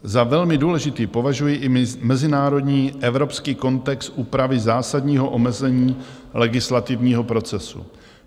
Za velmi důležitý považuji i mezinárodní evropský kontext úpravy zásadního omezení legislativního procesu.